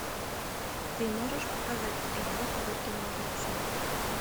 ты можешь показать эдвард руки ножницы